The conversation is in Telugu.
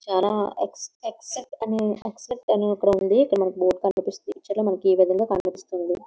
చాలా ఎక్స్ ఎక్స్‌పెక్ట్ అని ఎక్స్‌పెక్ట్ అని ఒకటి ఉంది . ఇక్కడ బోర్డు కనిపిస్తుంది.ఈ పిక్చర్ లో ఈ విధంగా కనిపిస్తుంది.